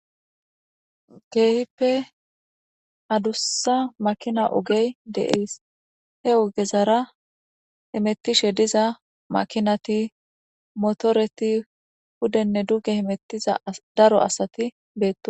Kehippe adussa makina ogey de'ees he ogezara hemettishe diza makinati motoreti hudenne duge himettiza daro asati beettosona